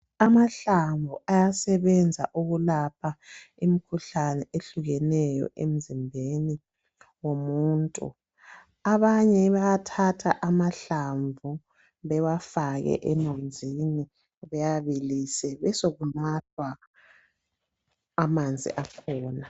Amahlamvu ayasebenza ukulapha imikhuhlane ehlukeneyo emzimbeni womuntu abanye bayathatha amahlamvu bewafake emanzini bewabilise besokunathwa amanzi akhona.